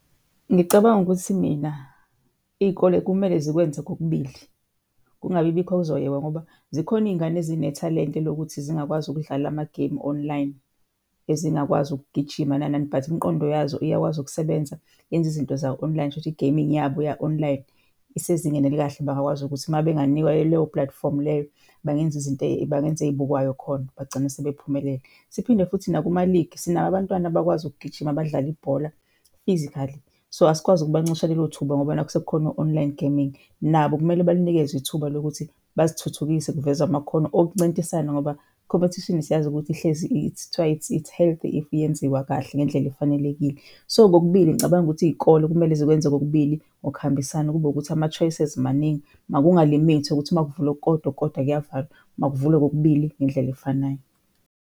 Ngicabanga ukuthi mina iy'kole kumele zikwenze kokubili, kungabibikho okuzoyekwa ngoba zikhona iy'ngane ezinethalente lokuthi zingakwazi ukudlala amagemu online, ezingakwazi ukugijima nani nani but imiqondo yazo iyakwazi ukusebenza yenze izinto za-online. Shuthi i-gaming yabo ya-online isezingeni elikahle bangakwazi ukuthi mabenganikwa-ke leyo platform leyo bangenza izinto bangenza ey'bukwayo khona bagcine sebephumelele. Siphinde futhi nakumaligi sinabo abantwana abakwazi ukugijima abadlala ibhola physically. So asikwazi ukubancisha lelo thuba ngoba nakhu sekukhona o-online gaming, nabo kumele balinikwezwe ithuba lokuthi bazithuthukise kuvezwe amakhono okuncintisana ngoba i-competition siyazi ukuthi ihlezi , kuthiwa it's it's healthy if iyenziwa kahle ngendlela efanelekile. So kokubili ngicabanga ukuthi iy'kolo kumele zikwenze kokubili ngokuhambisana, kube ukuthi ama-choices maningi. Makunga-limit ukuthi makuvulwa okukodwa, okukokdwa kuyavalwa. Makuvulwe kokubili ngendlela efanayo.